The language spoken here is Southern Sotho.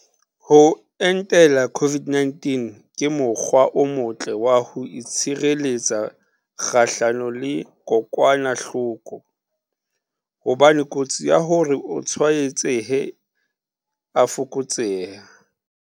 Ho entela COVID-19 ke mo kgwa o motle wa ho itshire letsa kgahlano le kokwana hloko, hobane kotsi ya hore o tswaetsehe e a fokotseha.